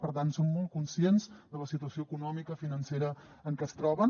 per tant som molt conscients de la situació econòmica financera en què es troben